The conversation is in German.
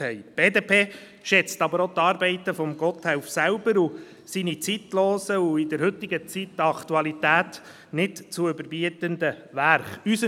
Die BDP schätzt aber auch die Arbeiten von Gotthelf und seine zeitlosen und in der heutigen Zeit an Aktualität nicht zu überbietenden Werke selber.